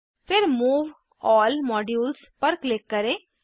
फिर move all modules पर click करें